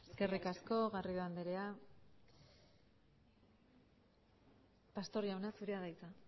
eskerrik asko garrido andrea pastor jauna zurea da hitza